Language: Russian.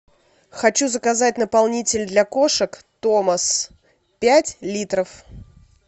хочу заказать наполнитель для кошек томас пять литров